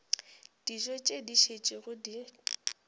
dijo tše di šetšego di